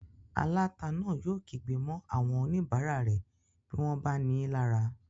Aláta náà yóò kígbe mọ́ àwọn oníbàárà rẹ̀ bí wọ́n bá nií lára